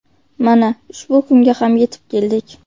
Mana ushbu kunga ham yetib keldik.